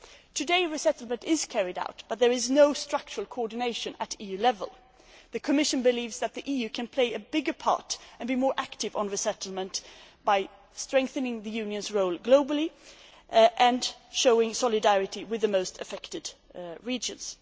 Today, resettlement is carried out, but there is no structural coordination at EU level. The Commission believes that the EU can play a bigger part and be more active on resettlement by strengthening the Union's role globally and showing solidarity with the most affected regions.